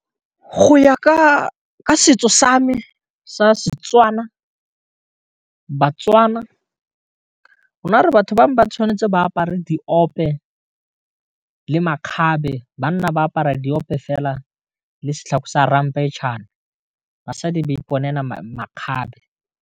Go ya ka setso sa me sa Setswana baTswana rona re batho bangwe ba tshwanetse ba apare diope le makgabe banna ba apara diope fela le setlhako sa ramphetšhane basadi ba iponela makgabe.